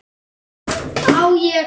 Á ég.?